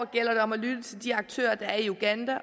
gælder det om at lytte til de aktører der er i uganda